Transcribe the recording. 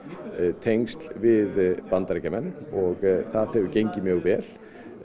tengsl við Bandaríkjamenn og það hefur gengið mjög vel